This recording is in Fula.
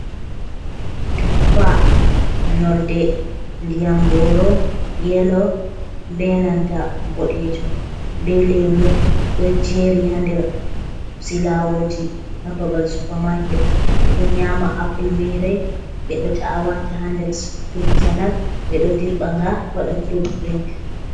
Tuffa nonde ndiyam goro yelo be nanta boɗejum, be lemu ɗo jeri ha nder silawoji ha babal supermarket. Ɓeɗo nyama apple mere ɓeɗo ta’a wata ha nder fruit salat, ɓeɗo dirɓa nga hauta fruits be man.